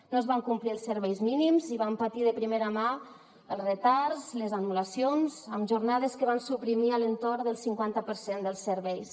no es van complir els serveis mínims i vam patir de primera mà els retards les anul·lacions amb jornades que van suprimir a l’entorn del cinquanta per cent dels serveis